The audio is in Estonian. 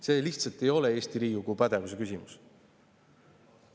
See lihtsalt ei ole Eesti Riigikogu pädevuse küsimus.